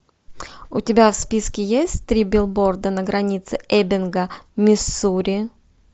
у тебя в списке есть три билборда на границе эббинга миссури